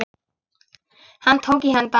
Hann tók í hönd hans.